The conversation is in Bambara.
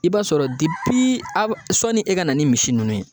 I b'a sɔrɔ depi a b sɔni e ka na ni misi ninnu ye